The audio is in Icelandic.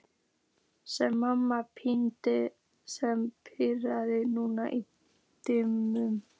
spyr mamma Pínu sem birtist nú í dyrunum.